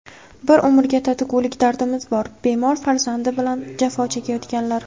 "Bir umrga tatigulik dardimiz bor": bemor farzandi bilan jafo chekayotganlar.